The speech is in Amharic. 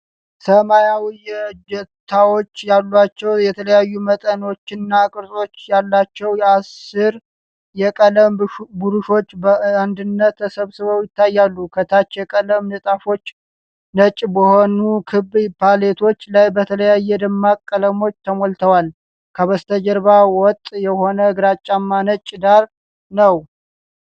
ሰማያዊ እጀታዎች ያሏቸው የተለያዩ መጠኖችና ቅርጾች ያላቸው የአሥር የቀለም ብሩሾች በአንድነት ተሰብስበው ይታያሉ። ከታች፣ የቀለም ንጣፎች ነጭ በሆኑ ክብ ፓሌቶች ላይ በተለያዩ ደማቅ ቀለሞች ተሞልተዋል። ከበስተጀርባው ወጥ የሆነ ግራጫማ ነጭ ዳራ ነው።